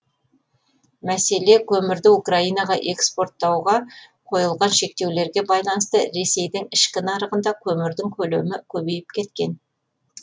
мәселе көмірді украинаға экспорттауға қойылған шектеулерге байланысты ресейдің ішкі нарығында көмірдің көлемі көбейіп кеткен